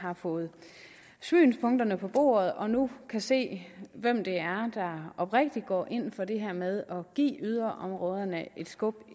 har fået synspunkterne på bordet og nu kan se hvem det er der oprigtigt går ind for det her med at give yderområderne et skub